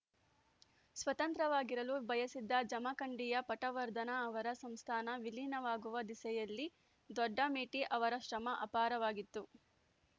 ಸ್ವತಂತ್ರವಾಗಿರಲು ಬಯಸಿದ್ದ ಜಮಖಂಡಿಯ ಪಟವರ್ಧನ ಅವರ ಸಂಸ್ಥಾನ ವಿಲೀನವಾಗುವ ದಿಸೆಯಲ್ಲಿ ದೊಡ್ಡಮೇಟಿ ಅವರ ಶ್ರಮ ಅಪಾರವಾಗಿತ್ತು